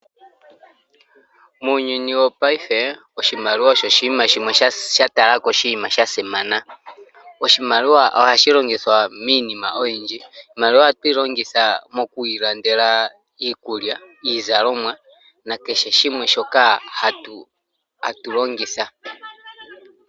Muuyuni wo paife oshimaliwa osho oshinima shimwe sha simana. Oshimaliwa ohashi longithwa miinima oyindji. Iimaliwa ohatu yi longitha moku ilandela iikulya, iizalomwa na kehe shimwe shoka hatu longitha.